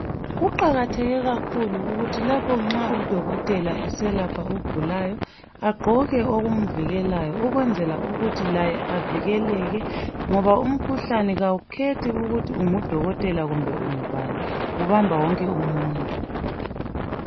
Kuqakatheke kakhulu ukuthi lapho nxa udokotela eselapha ogulayo aqoke okumvikelayo ukwenzela ukuthi laye avikeleke ngoba umkhuhlane kawukhethi ukuthi ungudokotela kumbe ungubani ubamba wonke umuntu.